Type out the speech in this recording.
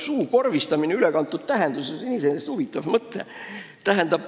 Suukorvistamine ülekantud tähenduses on iseenesest huvitav mõte.